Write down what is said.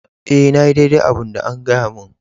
E,na yi daidai abun da an gaya mun.